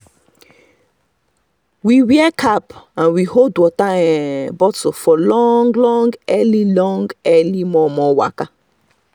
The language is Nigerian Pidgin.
we wear cap and we hold water um bottle for long long early long early um momo um waka